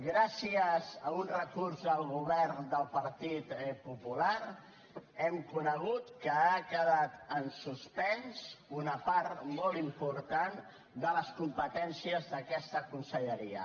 gràcies a un recurs del govern del partit popular hem conegut que ha quedat en suspens una part molt important de les competències d’aquesta conselleria